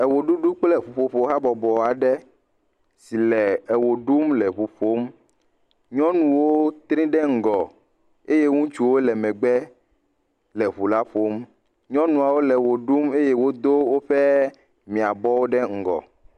Ewɔɖuɖu kple ŋuƒoƒo habɔbɔ aɖe si le ewɔ ɖum le ŋu ƒom. Nyɔnuwo tri ɖe ŋgɔ eye ŋutsuwo le megbe le ŋula ƒom. Nyɔnuawo le wɔ ɖum eye wodo woƒe miãbɔwo ɖe ŋgɔ.